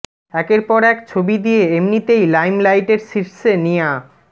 একের পর এক ছবি দিয়ে এমনিতেই লাইমলাইটের শীর্ষে নিয়া